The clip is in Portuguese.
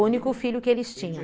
O único filho que eles tinham.